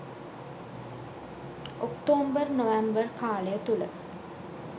October November කාලය තුළ